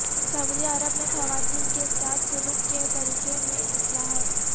سعودی عرب میں خواتین کیساتھ سلوک کے طریقہ میں اصلاحات